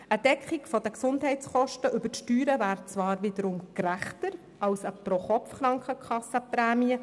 Eine Deckung der Gesundheitskosten über die Steuern wäre zwar wiederum gerechter als eine Pro-Kopf-Krankenkassenprämie.